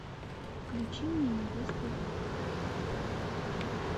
включи мне невеста века